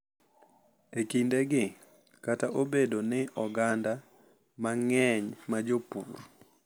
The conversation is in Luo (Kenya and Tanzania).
E kindegi, kata obedo ni oganda mang’eny ma jopur,